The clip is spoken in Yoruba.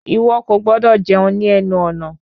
Ìwọ kò gbọdọ̀ jẹun ní ẹnu ọ̀nà!